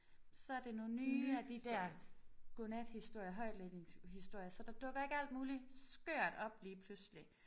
Så er det nogle nye af de der godnathistorier højtlæsningshistorier så der dukker ikke alt muligt skørt op lige pludselig